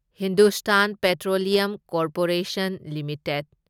Hindustan petroleum corporation limited